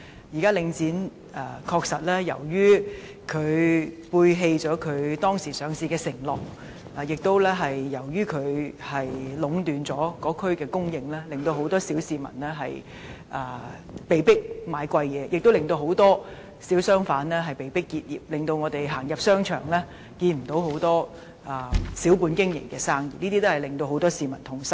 現時，領展確實背棄了其上市時的承諾，由於領展壟斷該區的供應，很多小市民被迫購買較貴的商品，很多小商販亦被迫結業，以致我們再無機會在商場看到小本經營的商鋪，這些情況均令很多市民感到痛心。